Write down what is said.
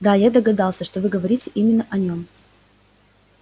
да я догадался что вы говорите именно о нём